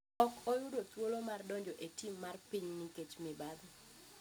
ok yudo thuolo mar donjo e tim mar piny nikech mibadhi.